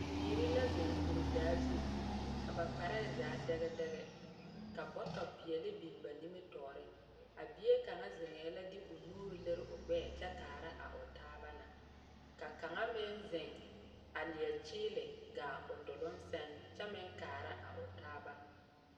Bibiiri la zeŋ kuridaa zu, ka ba kpare zaa dɛge dɛge, ka bɔtɔpeɛle biŋ ba nimitɔɔre, a bie kaŋa zeŋɛɛ la de o nuuri liri o gbɛɛ kyɛ kaara o taaba na, ka kaŋa meŋ zeŋ a leɛ kyeele gaa o duluŋ seŋ kyɛ meŋ kaara a o taaba,